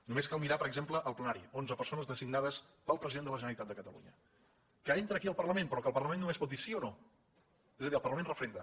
només cal mirar per exemple el plenari onze persones designades pel president de la generalitat de catalunya que entra aquí al parlament però que el parlament només pot dir sí o no és a dir el parlament referenda